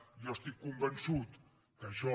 jo estic convençut que això